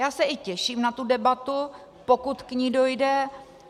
Já se i těším na tu debatu, pokud k ní dojde.